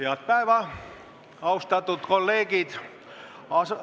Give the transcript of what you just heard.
Head päeva, austatud kolleegid!